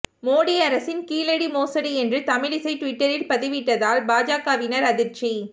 மோடி அரசின் கீழடி மோசடி என்று தமிழிசை டுவிட்டரில் பதிவிட்டதால் பாஜகவினர் அதிர்ச்சி